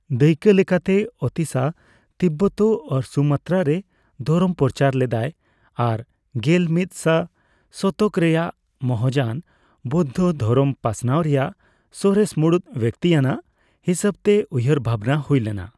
ᱫᱟᱭᱠᱟᱹᱞᱮᱠᱟᱛᱮ, Atisha Tibet ᱟᱨ Sumatra ᱨᱮ ᱫᱷᱚᱨᱚᱢ ᱯᱚᱪᱟᱨ ᱞᱮᱫᱟᱭ ᱟᱨ ᱜᱮᱞ ᱢᱤᱫ ᱥᱟ ᱥᱚᱛᱚᱠ ᱨᱮᱭᱟᱜ ᱢᱚᱦᱟᱡᱟᱱ ᱵᱚᱭᱫᱽᱫᱷᱚ ᱫᱷᱚᱨᱚᱢ ᱯᱟᱥᱱᱟᱣ ᱨᱮᱭᱟᱜ ᱥᱚᱨᱮᱥ ᱢᱩᱲᱩᱫ ᱵᱮᱠᱛᱤ ᱟᱱᱟᱜ ᱦᱤᱥᱟᱹᱵᱛᱮ ᱩᱭᱦᱟᱹᱨ ᱵᱷᱟᱵᱱᱟ ᱦᱩᱭ ᱞᱮᱱᱟ ᱾